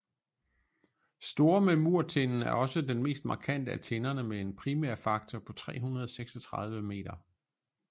Store memurtinden er også den mest markante af tinderne med en primærfaktor på 336 meter